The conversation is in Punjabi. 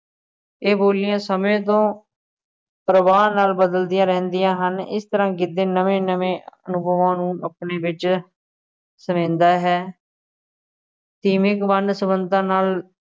ਇਹ ਬੋਲੀਆਂ ਸਮੇਂ ਤੋਂ ਪ੍ਰਵਾਹ ਨਾਲ ਬਦਲਦੀਆਂ ਰਹਿੰਦੀਆਂ ਹਨ, ਇਸ ਤਰ੍ਹਾ ਗਿੱਧੇ ਨਵੇਂ ਨਵੇਂ ਅਨੁਭਵਾਂ ਨੂੰ ਆਪਣੇ ਵਿੱਚ ਸਮਾਉਂਦਾ ਹੈ, ਸੀਮਤ ਵੰਨ ਸੁਵੰਨਤਾ ਨਾਲ,